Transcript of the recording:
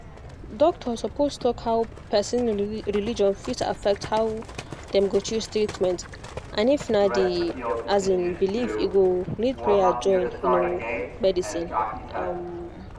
doctor suppose talk how person religion fit affect how dem go choose treatment and if na the um belief e go need prayer join um medicine um